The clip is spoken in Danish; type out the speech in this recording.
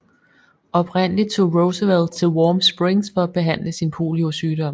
Oprindelig tog Roosevelt til Warm Springs for at behandle sin poliosygdom